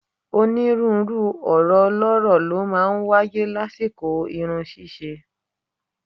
Onírúurú ọ̀rọ̀ ọlọ́rọ̀ ló máa ń wáyé lásìkò irun ṣíṣe